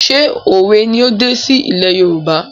ṣé òwe ni ó dé sí ilé Yorùbá?